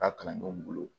Ka kalandenw bolo